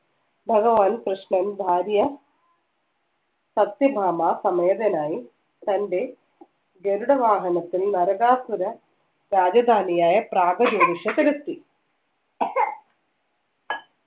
ഭഗവാൻ പ്രശ്നം ഭാര്യ സത്യഭാമ സമേതനായി തന്റെ ഗരുഡ വാഹനത്തിൽ നരകാസുര രാജധാനിയായ